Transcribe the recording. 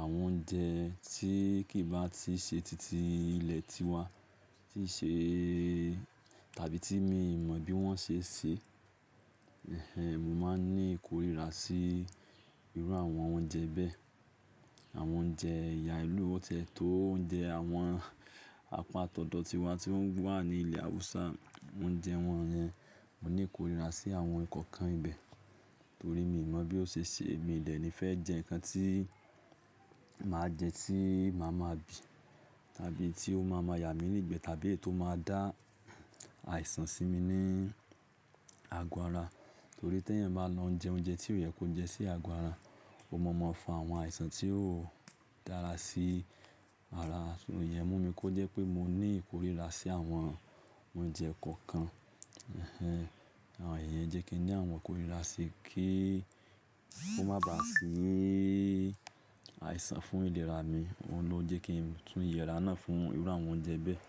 àwọn oúnjẹ tí kì í bá tiì ṣe titi ilẹ̀ tiwa, tí í ṣe tàbí tí mìí mọ bí wọ́n ṣe ṣe, ẹhẹń mo máa ń ní ìkórìíra sí irú àwọn oúnjẹ bẹ́ẹ̀. Àwọn oúnjẹ ìyá ìlú, ó tẹ́tó oúnjẹ àwọn àpaa tọ̀dọ̀ tiwa tí wọ́n wà ní ilẹ̀ Haúsá, oúnjẹ wọ́n yẹn, mo ní ìkórìíra sí àwọn nǹkan ibẹ̀, torí mi mọ̀ bí ó ṣe ṣe. Èmi dè ni fẹ́ jẹ nǹkan tí màá jẹ tí màá ma bì, tàbí tí ó máa ma yà mí nígbẹ̀ẹ́ tàbí tó máa dá àìsàn sí mi ní àgọ́ ara. Torí tí èèyàn bá ń lọ jẹ oúnjẹ tí ó yẹ kó jẹ sí àgọ́ ara, ó máa ma fa àwọn àìsàn tí ó dára sí ara. Ṣùgbọ́n ìyẹ́n mú mi kó jẹ́ pé mo ní ìkórìíra sí àwọn oúnjẹ kọ̀ọ̀kan. Ẹhẹń àwọn èyí jẹ́ kí n ní àwọn ìkórìíra sí kí ó má bà sí àìsàn fún ìlera mi. Óun ló jẹ́ kí n tún yẹ́ra náà fún irú àwọn oúnjẹ bẹ́ẹ̀.